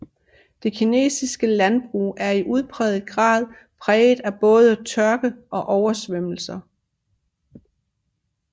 Det kinesiske landbrug er i udpræget grad præget af både tørke og oversvømmelser